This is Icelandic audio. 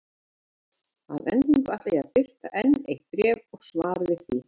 Að endingu ætla ég að birta enn eitt bréf og svar við því.